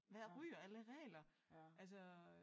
Hvad ryger alle regler altså